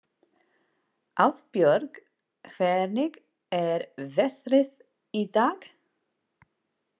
Auðbjörg, hvernig er veðrið í dag?